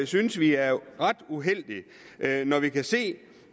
synes vi er ret uheldigt når vi kan se